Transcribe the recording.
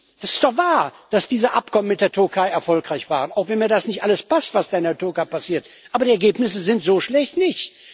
Es ist doch wahr, dass diese Abkommen mit der Türkei erfolgreich waren, auch wenn mir nicht alles passt, was da in der Türkei passiert. Aber die Ergebnisse sind so schlecht nicht.